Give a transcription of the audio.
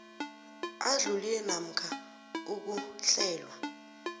adlulile namkha ukuhlelwa